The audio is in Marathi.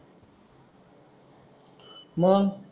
मग?